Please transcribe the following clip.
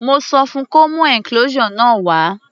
Mo sọ fun kó mú enclosure náà wá.